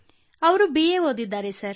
Krittika sir ಅವರು B A ಓದಿದ್ದಾರೆ